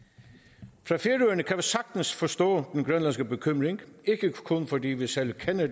sagtens forstå den grønlandske bekymring ikke kun fordi vi selv kender